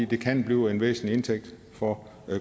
det kan blive en væsentlig indtægt for